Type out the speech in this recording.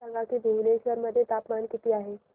सांगा की भुवनेश्वर मध्ये तापमान किती आहे